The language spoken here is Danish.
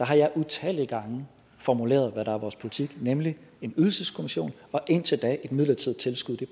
har jeg utallige gange formuleret hvad der er vores politik nemlig en ydelseskommission og indtil da et midlertidigt tilskud det